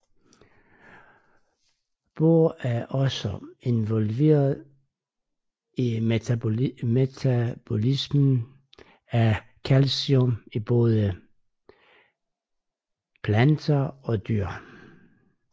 Bor er også involveret i metabolismen af calcium i både planter og dyr